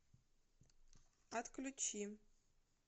отключи